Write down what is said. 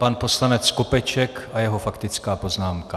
Pan poslanec Skopeček a jeho faktická poznámka.